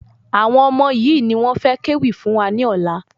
Àwọn ọmọ yìí ni wọ́n fẹ ké wì fún wa ní ọ̀la